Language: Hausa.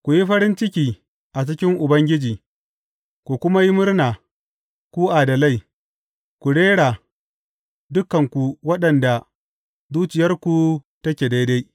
Ku yi farin ciki a cikin Ubangiji ku kuma yi murna, ku adalai; ku rera, dukanku waɗanda zuciyarku take daidai!